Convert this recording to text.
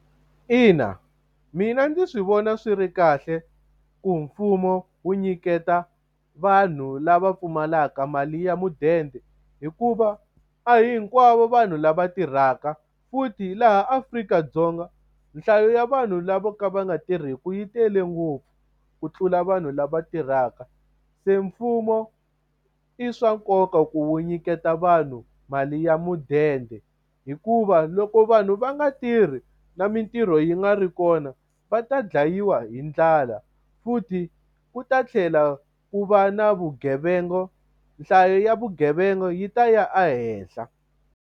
Ina, mina ndzi swi vona swi ri kahle ku mfumo wu nyiketa vanhu lava pfumalaka mali ya mudende. Hikuva a hi hinkwavo vanhu lava tirhaka, futhi laha Afrika-Dzonga nhlayo ya vanhu lavo ka va nga tirhiki yi tele ngopfu ku tlula vanhu lava tirhaka. Se mfumo i swa nkoka ku wu nyiketa vanhu mali ya mudende. Hikuva loko vanhu va nga tirhi na mitirho yi nga ri kona, va ta dlayiwa hi ndlala. Futhi ku ta tlhela ku va na vugevenga, nhlayo ya vugevenga yi ta ya ehenhla.